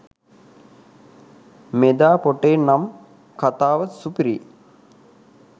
මෙදා පොටේ නම් කතාව සුපිරියි